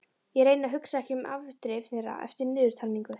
Ég reyni að hugsa ekki um afdrif þeirra eftir niðurtalningu.